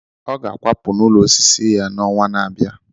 Ọ ga-akwapụ n'ụlọ osisi ya n'ọnwa na-abịa.